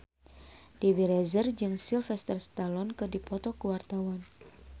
Dewi Rezer jeung Sylvester Stallone keur dipoto ku wartawan